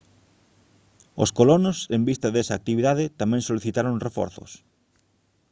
os colonos en vista desa actividade tamén solicitaron reforzos